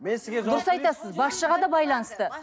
дұрыс айтасыз басшыға да байланысты